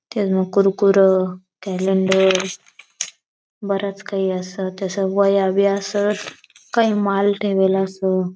त्या ज म कुरकुर केलेंडर बरंच काई अस तसा वया बी असत काई माल ठेवला अस.